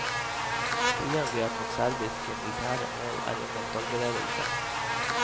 Flyangrep mot serbiske militære mål er under forberedelse.